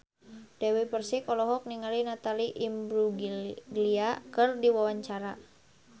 Dewi Persik olohok ningali Natalie Imbruglia keur diwawancara